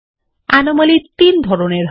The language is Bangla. অনোমালীয় তিন ধরনের হয়